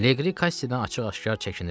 Leqri Kassidən açıq-aşkar çəkinirdi.